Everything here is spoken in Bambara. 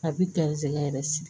A bi garisɛgɛ yɛrɛ sigi